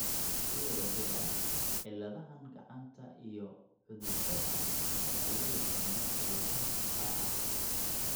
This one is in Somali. Si wada jir ah, cilladahaan gacanta iyo cududaha waxaa loo yaqaannaa cilladaha shucaaca.